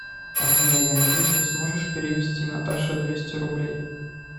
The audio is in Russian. афина я надеюсь ты сможешь перевести наташе двести рублей